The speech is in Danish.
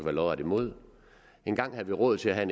er lodret imod engang havde vi råd til at have